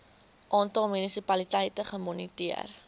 aantal munisipaliteite gemoniteer